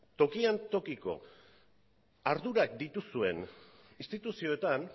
tokian tokiko ardurak dituzuen instituzioetan